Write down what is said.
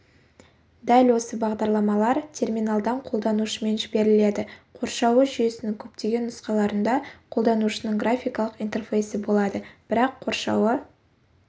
дәл осы бағдарламалар терминалдан қолданушымен жіберіледі қоршауы жүйесінің көптеген нұсқаларында қолданушының графикалық интерфейсі болады бірақ қоршауы